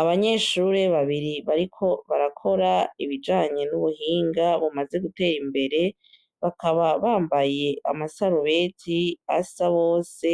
Abanyeshure babiri bariko barakora ibijanye n'ubuhinga bumaze gutera imbere bakaba bambaye amasarubeti asa bose